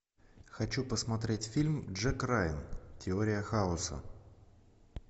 хочу посмотреть фильм джек райан теория хаоса